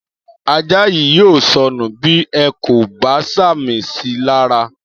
Ajá yìí yóò sọnù bí ẹ kò bá sàmì síi lara